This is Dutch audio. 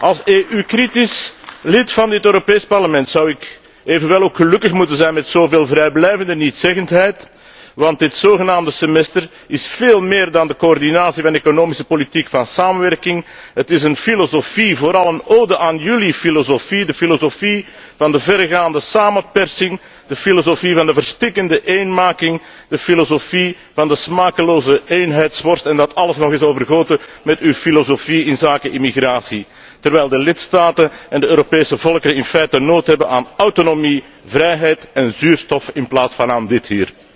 Als EU kritisch lid van het Europees Parlement zou ik echter gelukkig moeten zijn met zoveel vrijblijvende nietszeggendheid, want dit zogenaamde Semester is veel meer dan de coördinatie van economisch beleid en samenwerking. Het is een filosofie, vooral een ode aan jullie filosofie, de filosofie van de verregaande samenpersing, de filosofie van de verstikkende eenmaking, de filosofie van de smakeloze eenheidsworst en dat alles nog eens overgoten met uw filosofie inzake immigratie, terwijl de lidstaten en de Europese volkeren in feite behoefte hebben aan autonomie, vrijheid en zuurstof in plaats van aan dit hier.